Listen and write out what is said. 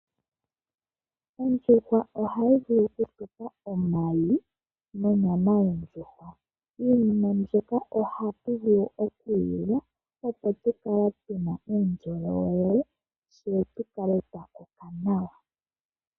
Ondjuhwa ohayi vulu okutu pa omayi nonyama. Iinima mbika ohatu vulu okuyi lya, opo u kale tu na uundjolowele, tse tu kale twa koka nawa.